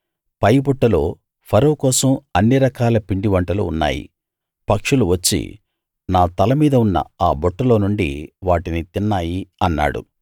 పై బుట్టలో ఫరో కోసం అన్ని రకాల పిండివంటలు ఉన్నాయి పక్షులు వచ్చి నా తల మీద ఉన్న ఆ బుట్టలో నుండి వాటిని తిన్నాయి అన్నాడు